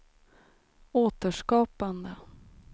återskapande